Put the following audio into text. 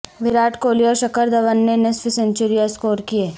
وراٹ کوہلی اور شکھر دھون نے نصف سنچریاں سکور کیں